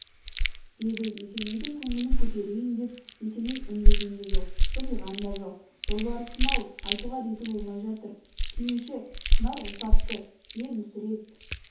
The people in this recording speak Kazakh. деді есенейдің көңілін көтерейін деп есеней үндеген де жоқ жымиған да жоқ жолбарысым-ау айтуға реті болмай жатыр сүйінші шынар ұл тапты е мүсіреп